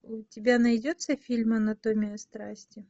у тебя найдется фильм анатомия страсти